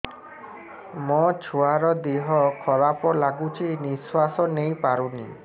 ମୋ ଛୁଆର ଦିହ ଖରାପ ଲାଗୁଚି ନିଃଶ୍ବାସ ନେଇ ପାରୁନି